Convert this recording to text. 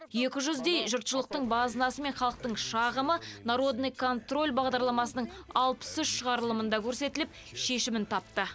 екі жүздей жұртшылықтың базынасы мен халықтың шағымы народный контроль бағдарламасының алпыс үш шығарылымында көрсетіліп шешімін тапты